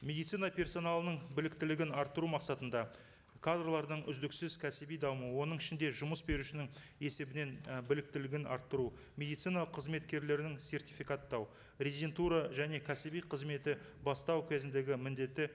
медицина персоналының біліктілігін арттыру мақсатында кадрлардың үздіксіз кәсіби дамуы оның ішінде жұмыс берушінің есебінен і біліктілігін арттыру медицина қызметкерлерін сертификаттау резидентура және кәсіби қызметі бастау кезіндегі міндеті